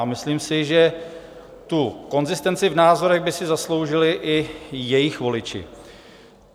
A myslím si, že tu konzistenci v názorech by si zasloužili i jejich voliči.